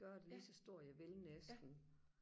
gøre det lige så stort jeg vil næsten